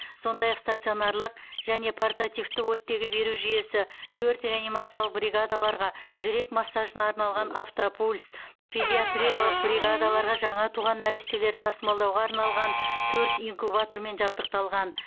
сондай ақ стационарлық және портативті оттегі беру жүйесі төрт реанимациялық бригадаларға жүрек массажына арналған автопульс педиатриялық бригадаларға жаңа туған нәрестелерді тасымалдауға арналған төрт инкубатормен жабдықталған